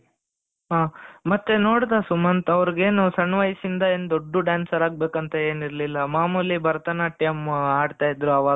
ಹ ಮತ್ತೆ ನೋಡಿದ ಸುಮಂತ್ ಅವರಿಗೇನು ಸಣ್ಣ ವಯಸ್ಸಿಂದ ಏನ್ ದೊಡ್ದು dancer ಆಗ್ಬೇಕು ಅಂತ ಏನ ಇರ್ಲಿಲ್ಲ ಮಾಮೂಲಿ ಭರತನಾಟ್ಯಂ ಅಡ್ತ ಇದ್ರು ಆವಾಗ.